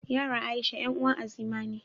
Yaran Aisha 'yan uwar Azima ne.